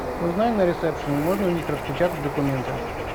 узнай на ресепшене можно у них распечатать документы